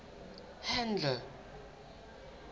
handle